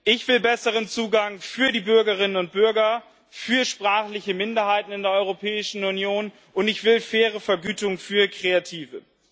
Ich will besseren Zugang für die Bürgerinnen und Bürger, für sprachliche Minderheiten in der Europäischen Union, und ich will eine faire Vergütung für Kreative.